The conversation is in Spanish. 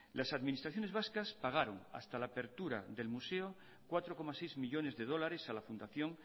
las administraciones vascas pagaron hasta la apertura del museo cuatro coma seis millónes de dólares a la fundación